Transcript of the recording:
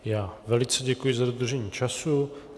Já velice děkuji za dodržení času.